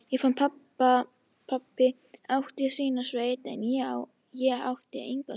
Ég fann að pabbi átti sína sveit, en ég átti enga sveit.